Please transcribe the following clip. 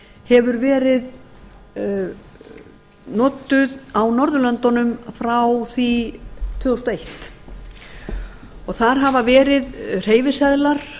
hefur verið notuð á norðurlöndunum frá því tvö þúsund og eitt þar hafa verið hreyfiseðlar